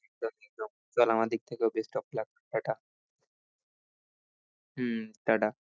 চল আমার দিক থেকেও best of luck ta ta হম টা টা।